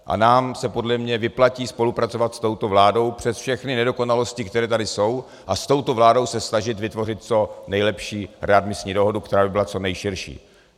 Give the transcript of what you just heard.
A nám se podle mě vyplatí spolupracovat s touto vládou přes všechny nedokonalosti, které tady jsou, a s touto vládou se snažit vytvořit co nejlepší readmisní dohodu, která by byla co nejširší.